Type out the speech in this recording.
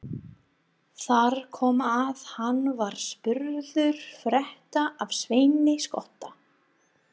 Þar kom að hann var spurður frétta af Sveini skotta.